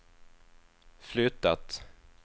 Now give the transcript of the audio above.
flyttat